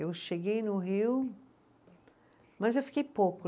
Eu cheguei no Rio, mas eu fiquei pouco.